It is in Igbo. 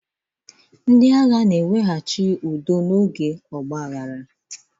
Ndị agha na-eweghachi udo n'oge ọgbaaghara.